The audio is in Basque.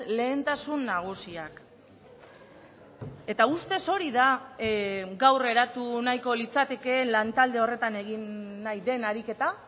lehentasun nagusiak eta ustez hori da gaur eratu nahiko litzatekeen lan talde horretan egin nahi den ariketa